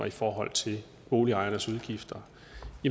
i forhold til boligejernes udgifter